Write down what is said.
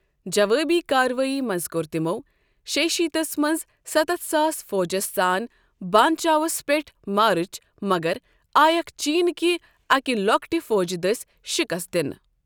جوٲبی کاروٲیی منٛز کوٚر تِمو شێیہِ شيٖتھ تس منٛز سَتَتھ ساس فوجس سان بان چاوس پیٚٹھ مارٕچ مگر آیکھ چیٖن کہِ اکہِ لۄکٹہِ فوجہٕ دٔسۍ شِکست دِنہٕ۔